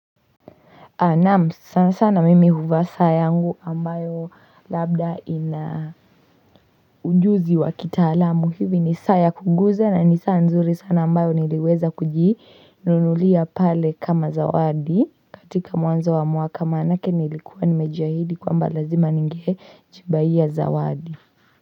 Naam sana sana mimi huvaa saa yangu ambayo labda ina ujuzi wa kitaalamu hivi ni saa ya kuguza na ni saa nzuri sana ambayo niliweza kujinunulia pale kama zawadi katika mwanzo wa mwaka maanake nilikuwa nimejiahidi kwamba lazima ninge jibaiya zawadi.